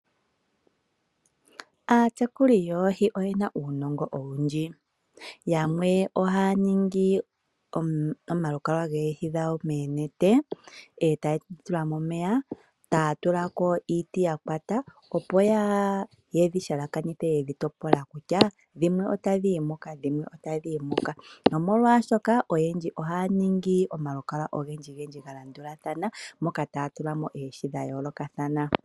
Aatekuli yoohi oye na uunongo owundji. Yamwe ohaya ningi omalukalwa goohi dhawo moonete, e taye dhi tula momeya , ya tula ko iiti ya kwata opo ye dhi halakanithe ye dhi topola kutya dhimwe otadhi yi muka, dhimwe otadhi yi mwiyaka nomolwaashoka oyendji ohaya ningi omalukalwa ogendji ga landulathana moka taya tula mo oohi dha yoolokathana.